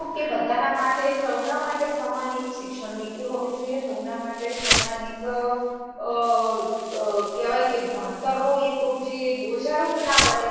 કે બધાના માટે, સૌના માટે એક શિક્ષણ નીતિ હોવી જોઈએ, સૌના માટે સમાન એક આહ આહ કહેવાય કે ભણતરનું એક રૂપ જોઈએ. એક બોજા રૂપ ના બને